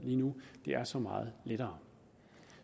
lige nu er så meget lettere